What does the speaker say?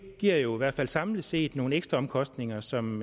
giver jo i hvert fald samlet set nogle ekstraomkostninger som